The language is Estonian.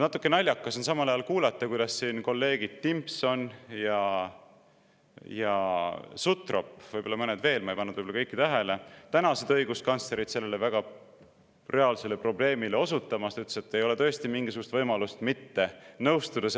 Natuke naljakas on samal ajal kuulata, kuidas siin kolleegid Timpson ja Sutrop – võib-olla mõned veel, ma ei pannud võib-olla kõike tähele – tänasid õiguskantslerit sellele reaalsele probleemile osutamast ja ütlesid, et ei ole tõesti mingisugust võimalust sellega mitte nõustuda.